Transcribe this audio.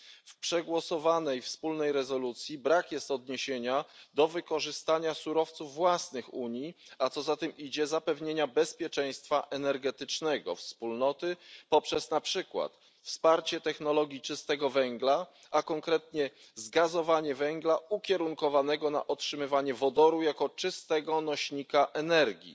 W przegłosowanej wspólnej rezolucji brak jest odniesienia do wykorzystania surowców własnych Unii, a co za tym idzie zapewnienia bezpieczeństwa energetycznego Wspólnoty poprzez na przykład wsparcie technologii czystego węgla, a konkretnie zgazowanie węgla ukierunkowanego na otrzymywanie wodoru jako czystego nośnika energii.